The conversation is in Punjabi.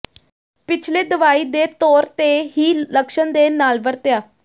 ਪਿਛਲੇ ਦਵਾਈ ਦੇ ਤੌਰ ਤੇ ਹੀ ਲੱਛਣ ਦੇ ਨਾਲ ਵਰਤਿਆ